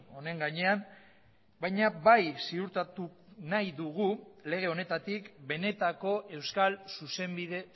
honen gainean baina bai ziurtatu nahi dugu lege honetatik benetako euskal zuzenbide